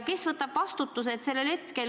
Kes võtab vastutuse, et raha väärtus ei lange?